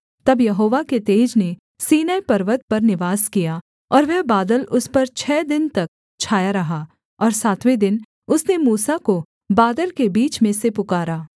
तब यहोवा के तेज ने सीनै पर्वत पर निवास किया और वह बादल उस पर छः दिन तक छाया रहा और सातवें दिन उसने मूसा को बादल के बीच में से पुकारा